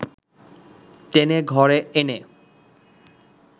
টেনে ঘরে এনে